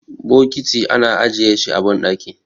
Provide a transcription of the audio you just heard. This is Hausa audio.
bokiti ana ajiye shi a bandaki